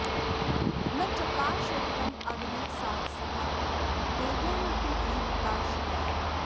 न चकार शरीरं अग्निसात्सह देव्या न तु जीविताशया